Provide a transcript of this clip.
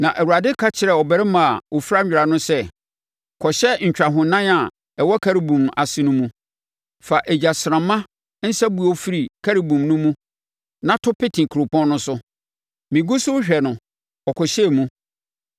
Na Awurade ka kyerɛɛ ɔbarima a ɔfira nwera no sɛ, “Kɔhyɛ ntwahonan a ɛwɔ Kerubim ase no mu. Fa egyasramma nsabuo firi Kerubim no mu na to pete kuropɔn no so.” Megu so rehwɛ no, ɔkɔhyɛɛ mu.